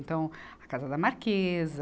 Então, a Casa da Marquesa,